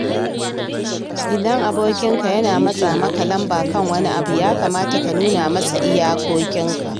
Idan abokinka yana matsa maka lamba kan wani abu, ya kamata ka nuna masa iyakokinka.